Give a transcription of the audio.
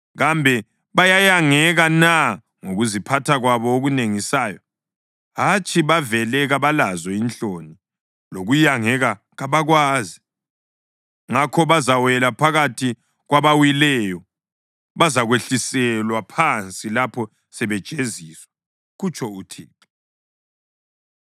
Kambe bayayangeka na ngokuziphatha kwabo okunengisayo? Hatshi, bavele kabalazo inhloni, lokuyangeka kabakwazi. Ngakho bazawela phakathi kwabawileyo, bazakwehliselwa phansi lapho sebejeziswa, kutsho uThixo.